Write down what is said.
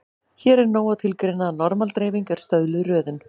Hér er nóg að tilgreina að normal-dreifing er stöðluð röðun.